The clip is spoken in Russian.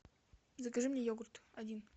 закажи мне йогурт один